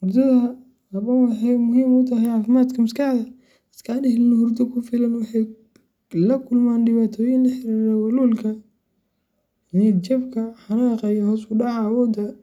hurdada habboon waxay muhiim u tahay caafimaadka maskaxda. Dadka aan helin hurdo ku filan waxay la kulmaan dhibaatooyin la xiriira walwalka, niyadjabka, xanaaqa, iyo hoos u dhaca awoodda .